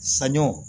Saɲɔ